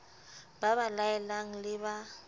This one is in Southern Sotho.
ba ba laelang le ba